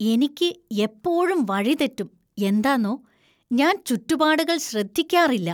എനിക്ക് എപ്പോഴും വഴി തെറ്റും, എന്താന്നോ, ഞാന്‍ ചുറ്റുപാടുകൾ ശ്രദ്ധിക്കാറില്ല.